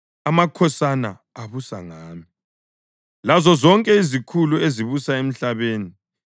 amakhosana abusa ngami, lazozonke izikhulu ezibusa emhlabeni.